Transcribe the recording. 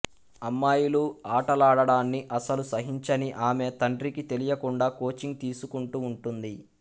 అమ్మాయిలు ఆటలాడడాన్ని అస్సలు సహించని ఆమె తండ్రికి తెలియకుండా కోచింగ్ తీసుకుంటూ వుంటుంది